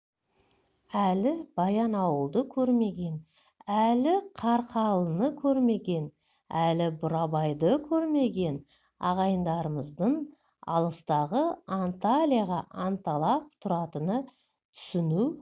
әлі баянауылды көрмеген әлі қарқаралыны көрмеген әлі бурабайды көрмеген ағайындарымыздың алыстағы анталияға анталап тұратынын түсіну